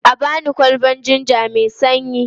A ba ni kwalbar jinja mai sanyi.